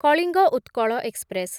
Kalinga Utkal express